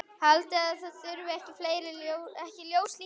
Haldið þið að það þurfi ekki ljós líka?